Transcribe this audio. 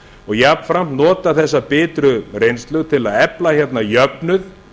og jafnframt notað þessa bitru reynslu til að efla hérna jöfnuð